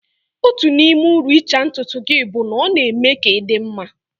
Otu n'ime uru ịcha ntutu gị bụ na ọ na-eme ka ị dị mma